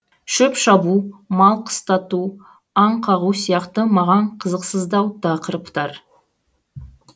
шөп шабу мал қыстату аң қағу сияқты маған қызықсыздау тақырыптар